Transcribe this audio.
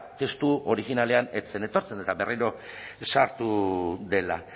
testu originalean ez zen etortzen eta berriro sartu dela